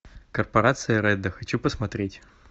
корпорация редда хочу посмотреть